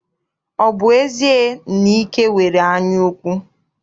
Ọ bụ ezie na Ike nwere anyaukwu?